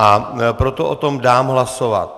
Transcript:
A proto o tom dám hlasovat.